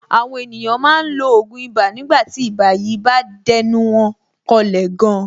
Àwọn ènìyàn máa ń lo ògùn ibà nígbà tí ibà yìí bá dẹnu wọn kọlẹ̀ gan.